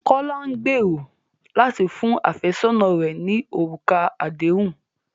Kọ̀lá n gbèró látì fún afẹsọna rẹ̀ ní orúkà àdéhùn